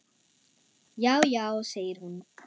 Já, já segir hún.